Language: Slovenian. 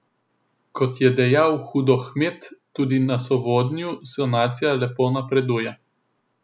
Kot je dejal Hudohmet, tudi na Sovodnju sanacija lepo napreduje.